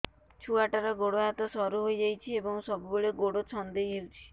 ଛୁଆଟାର ଗୋଡ଼ ହାତ ସରୁ ହୋଇଯାଇଛି ଏବଂ ସବୁବେଳେ ଗୋଡ଼ ଛଂଦେଇ ହେଉଛି